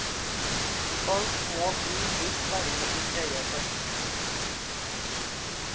Folk må bli litt varme i trøya først.